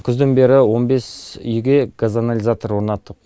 күзден бері он бес үйге газоанализатор орнаттық